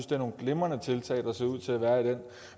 det er nogle glimrende tiltag der ser ud til at være i den